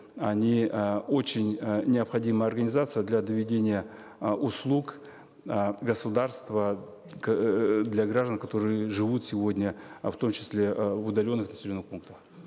они э очень э необходимая организация для доведения э услуг э государства к эээ для граждан которые живут сегодня э в том числе э в удаленных населенных пунктах